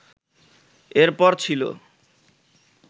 এর পর ছিল